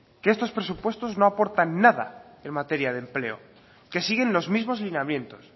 que estos presupuestos no aportan nada en materia de empleo que siguen los mismos lineamientos